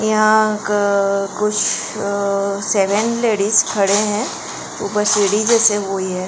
यहां कुछ seven ladies खड़े हैं ऊपर सेडी जैसे हुए हैं।